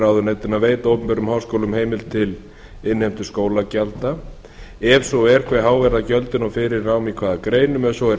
ráðuneytinu að veita opinberum háskólum heimild til innheimtu skólagjalda ef svo er hve há gjöld og fyrir nám í hvaða greinum ef svo er